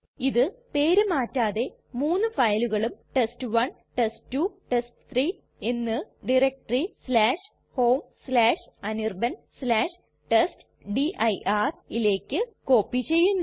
ഇത് പേര് മാറ്റാതെ മൂന്ന് ഫയലുകളും ടെസ്റ്റ്1 ടെസ്റ്റ്2 ടെസ്റ്റ്3 എന്ന് ടയരക്റ്റെറി homeanirbantestdirയിലേക്ക് കോപ്പി ചെയ്യുന്നു